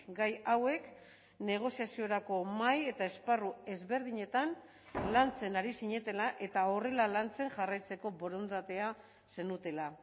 gai hauek negoziaziorako mahai eta esparru ezberdinetan lantzen ari zinetela eta horrela lantzen jarraitzeko borondatea zenutela